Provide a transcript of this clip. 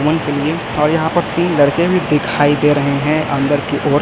और यहां पर तीन लड़के भी दिखाई दे रहे हैं अंदर की ओर।